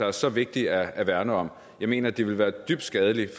er så vigtigt at værne om jeg mener det ville være dybt skadeligt